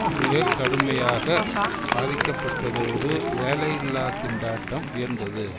மிக கடுமையாக பாதிக்கப்பட்டதோடு வேலையில்லா திண்டாட்டம் உயர்ந்தது